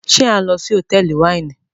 ṣe a n lo sí Hotẹẹli Wáìnì